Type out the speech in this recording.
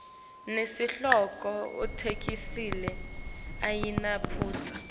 nesihloko itheksthi ayinamaphutsa